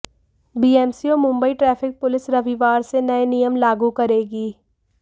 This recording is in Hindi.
बीएमसी और मुंबई ट्रैफिक पुलिस रविवार से नए नियम लागू करेगी